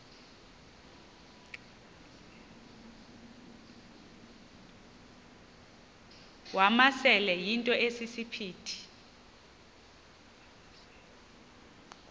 wamasele yinto esisiphithi